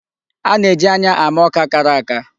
A na-eji anya ama ọka kara aka.